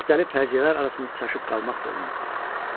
Müxtəlif fərziyyələr arasında çaşıb qalmaq da olmurdu.